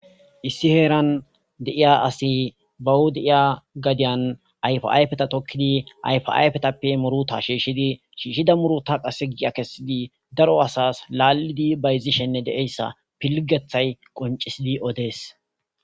Issi heeran deiya asi bawudiiya gadiyan ayfayfeta tokkidi ayfayfetappe muruta shiishshidi shiishshida muruta qase gia kessidi daro asas laallidi bayzishenne deeyssa pilgethay qoncisidi odees